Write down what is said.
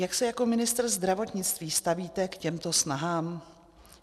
Jak se jako ministr zdravotnictví stavíte k těmto snahám?